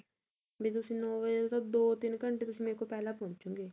B ਤੁਸੀਂ ਨੋ ਵਜੇ ਤਾਂ ਦੋ ਤਿੰਨ ਘੰਟੇ ਪਹਿਲਾਂ ਪੋਹੁੰਚੋੰ ਗੇ